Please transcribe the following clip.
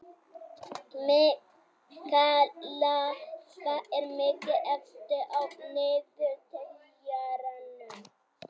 Mikaela, hvað er mikið eftir af niðurteljaranum?